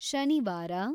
ಶನಿವಾರ